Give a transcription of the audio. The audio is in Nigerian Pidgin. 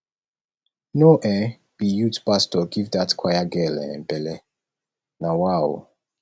no um be youth pastor give dat choir girl um belle na wa o